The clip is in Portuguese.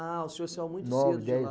Ah, o senhor saiu muito cedo de lá. Nove, dez